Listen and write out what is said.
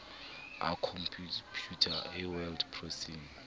a khompeuta a word processing